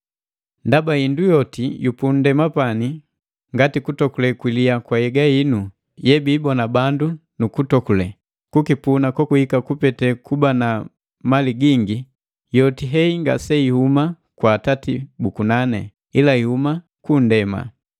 Ndaba hindu yoti yu punndema ngati, ndokule yilya ya nhyega, hindu yebiibona bandu nu kuitokule. Kukipuna kokuhika kupete kuba na mali gingi, yoti hei ngaseihuma kwa Atati bu kunani, ila ihuma ku nndema.